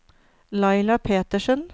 Laila Petersen